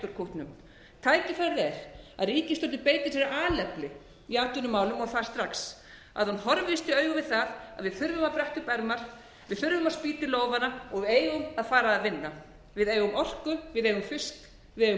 kútnum tækifærið er að ríkisstjórnin beiti sér af alefli í atvinnumálum og það strax hún horfist í augu við að við þurfum að bretta upp ermar við þurfum að spýta í lófana við eigum að fara að vinna við eigum orku við eigum fisk við eigum